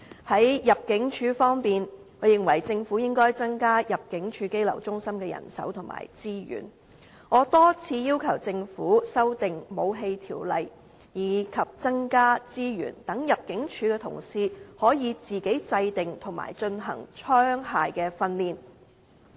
在入境處方面，我認為政府應該增加入境處羈留中心的人手和資源，我多次要求政府修訂《武器條例》，以及增加資源，讓入境處同事可以自行制訂和進行槍械訓練。